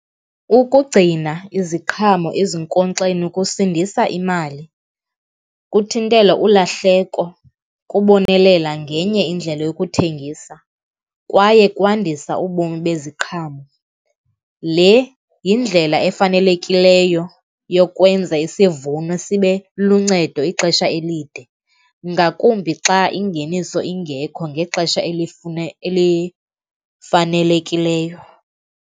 Ukugcina iziqhamo ezinkonkxeni kusindisa imali, kuthintela ulahleko, kubonelela ngenye indlela yokuthengisa kwaye kwandisa ubomi beziqhamo. Le yindlela efanelekileyo yokwenza isivuno sibe luncedo ixesha elide, ngakumbi xa ingeniso ingekho ngexesha elifanelekileyo.